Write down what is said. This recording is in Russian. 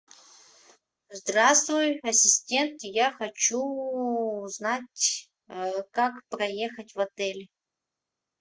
здравствуй ассистент я хочу узнать как проехать в отель